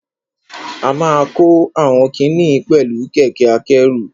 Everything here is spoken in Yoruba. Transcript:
A ma kó àwọn kiní yìí oẹ̀lú kẹ̀kẹ́ akẹ́rù.